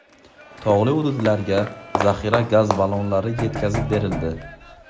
Tog‘li hududlarga zaxira gaz ballonlari yetkazib berildi.